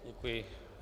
Děkuji.